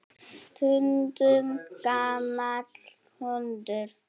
Stundum gamall hundur.